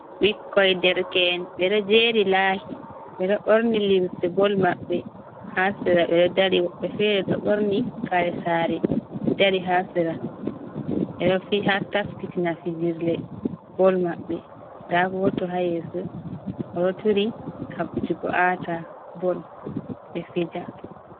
Bikkoi derken bedo jeri lahi bedo borni limse bol mabbe ,hasira be do dari woɓbe fere do borni karesare dari hasira beohataskitina fijirle bol mabbe dagoto hayese o do turi habdugo ata bol be fija.